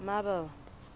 marble